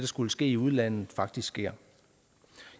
skulle ske i udlandet faktisk sker